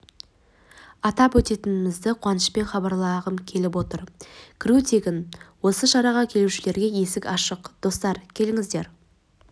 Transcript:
атап өтетінімізді қуанышпен хабарлағым келіп отыр кіру тегін осы шараға келушілерге есік ашық достар келіңіздер